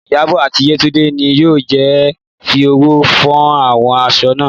Ìyábọ̀ àti Yétúndé ni yóò jọ fi ọwọ́ fọ àwọn aṣọ náà